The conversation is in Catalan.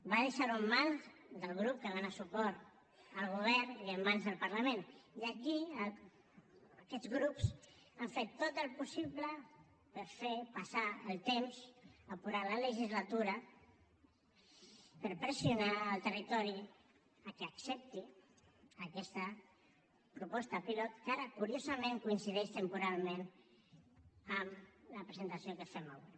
va deixar ho en mans del grup que dona suport al govern i en mans del parlament i aquí aquests grups han fet tot el possible per fer passar el temps apurar la legislatura per pressionar el territori que accepti aquesta proposta pilot que ara curiosament coincideix temporalment amb la presentació que fem avui